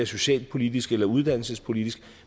socialpolitisk eller uddannelsespolitisk